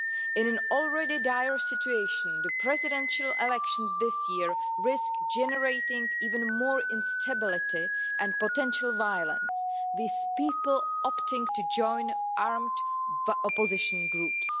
In an already dire situation the presidential elections this year risk generating even more instability and potential violence, with people opting to join armed opposition groups.